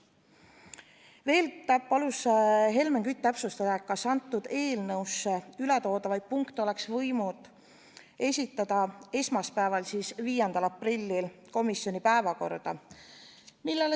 Veel palus Helmen Kütt täpsustada, kas sellesse eelnõusse ületoodavaid punkte ei oleks võinud esitada esmaspäeval, 5. aprillil komisjoni päevakorda.